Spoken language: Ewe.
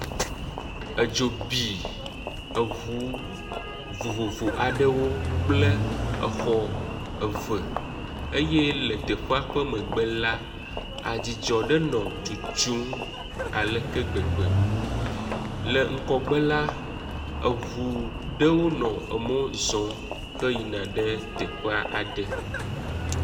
Edzo bi eʋu vovovo aɖewo kple exɔ eve eye le teƒea ƒe megbe la, adzidzɔ ɖe nɔ tsotsom aleke gbegbe, le ŋgɔgbe la, eʋu ɖewo nɔ emɔ zɔ he yina ɖe teƒe aɖe.